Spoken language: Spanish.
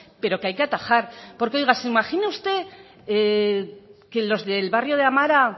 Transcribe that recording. pero que hay que atajar porque oiga se imagina usted que los del barrio de amara